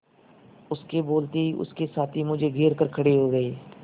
उसके बोलते ही उसके साथी मुझे घेर कर खड़े हो गए